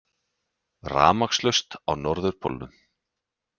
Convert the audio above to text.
Rafmagnslaust á Norðurpólnum